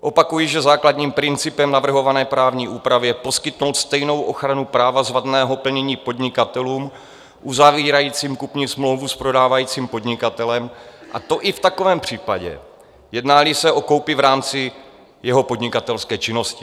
Opakuji, že základním principem navrhované právní úpravy je poskytnout stejnou ochranu práva z vadného plnění podnikatelům uzavírajícím kupní smlouvu s prodávajícím podnikatelem, a to i v takovém případě, jedná-li se o koupi v rámci jeho podnikatelské činnosti.